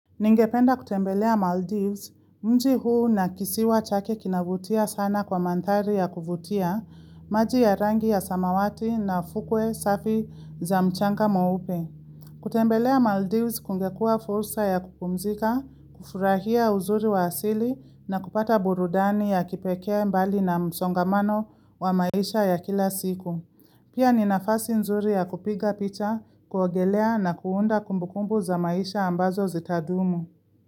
Ningependa kutembelea Maldives, mji huu na kisiwa chake kinavutia sana kwa mandhari ya kuvutia, maji ya rangi ya samawati na fukwe safi za mchanga mweupe. Kutembelea Maldives kungekua fursa ya kupumzika, kufurahia uzuri wa asili na kupata burudani ya kipekea mbali na msongamano wa maisha ya kila siku. Pia ninafasi nzuri ya kupiga picha, kuogelea na kuunda kumbukumbu za maisha ambazo zitadumu.